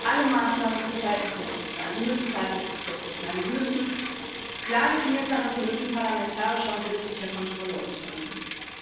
Alle Maßnahmen müssen verhältnismäßig sein, sie müssen zeitlich befristet sein, sie müssen klar definiert sein, und sie müssen parlamentarischer und gerichtlicher Kontrolle unterliegen.